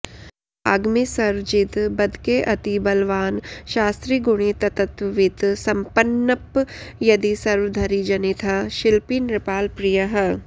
वाग्मी सर्वजिदब्दकेऽतिबलवान् शास्त्री गुणी तत्त्ववित् सम्पन्न्प् यदि सर्वधरिजनितः शिल्पी नृपालप्रियः